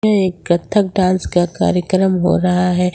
यह एक कथक डांस का कार्यक्रम हो रहा है।